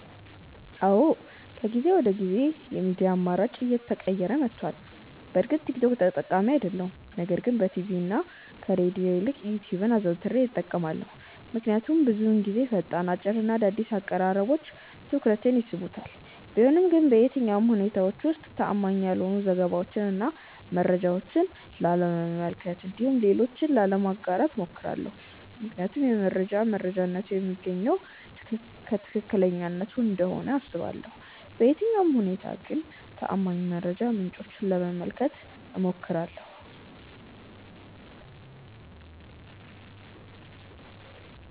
አዎ ከጊዜ ወደ ጊዜ የሚዲያ አማራጬ እየተቀየረ መቷል። በእርግጥ ቲክ ቶክ ተጠቃሚ አይደለሁም ነገር ግን በቲቪ እና ከሬድዮ ይልቅ ዩትዩብን አዘውትሬ እጠቀማለሁ። ምክንያቱም ብዙውን ጊዜ ፈጣን፣ አጭር እና አዳዲስ አቀራረቦች ትኩረቴን ይስቡታል። ቢሆንም ግን በየትኛውም ሁኔታዎች ውስጥ ተአማኒ ያልሆኑ ዘገባዎችን እና መረጃዎችን ላለመመልከት እንዲሁም ለሌሎች ላለማጋራት እሞክራለሁ። ምክንያቱም የመረጃ መረጃነቱ የሚገኘው ከትክክለኛነቱ እንደሆነ አስባለሁ። በየትኛውም ሁኔታ ግን ተአማኒ የመረጃ ምንጮችን ለመመልከት እሞክራለሁ።